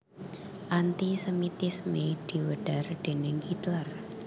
Anti sémitisme diwedhar déning Hitler